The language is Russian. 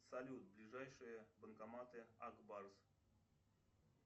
салют ближайшие банкоматы ак барс